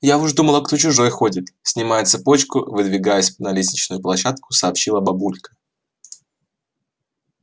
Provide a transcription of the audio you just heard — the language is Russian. я уж думала кто чужой ходит снимая цепочку и выдвигаясь на лестничную площадку сообщила бабулька